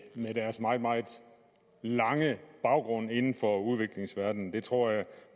med deres meget meget lange baggrund inden for udviklingsverdenen det tror jeg